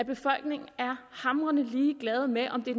befolkningen er hamrende ligeglad med om det